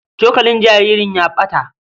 Cokalin jaririn ya ɓata.